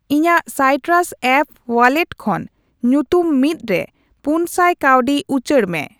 ᱤᱧᱟᱜ ᱥᱟᱭᱴᱨᱟᱥ app wallet ᱠᱷᱚᱱ ᱧᱩᱛᱩᱢᱼ᱑ ᱨᱮ ᱯᱩᱱᱥᱟᱭ ᱠᱟᱹᱣᱰᱤ ᱩᱪᱟᱹᱲ ᱢᱮ ᱾